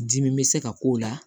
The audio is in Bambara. Dimi bɛ se ka k'o la